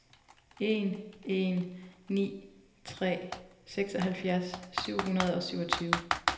en en ni tre seksoghalvfjerds syv hundrede og syvogtyve